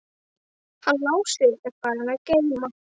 Hann Lási er farinn að geyma.